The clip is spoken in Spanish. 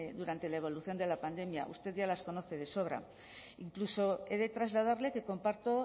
durante la evolución de la pandemia usted ya las conoce de sobra incluso he de trasladarle que comparto